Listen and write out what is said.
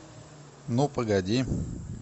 ну погоди